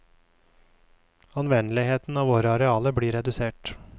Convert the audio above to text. Anvendeligheten av våre arealer blir redusert.